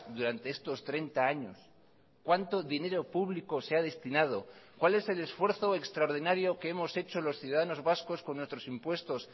durante estos treinta años cuánto dinero público se ha destinado cuál es el esfuerzo extraordinario que hemos hecho los ciudadanos vascos con nuestros impuestos